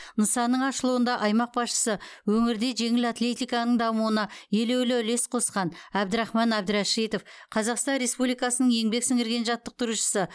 нысанның ашылуында аймақ басшысы өңірде жеңіл атлетиканың дамуына елеулі үлес қосқан әбдрахман әбдірәшитов қазақстан республикасының еңбек сіңірген жаттықтырушысы